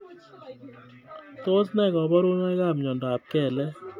Tos ne koboruneikab mnyondob kelek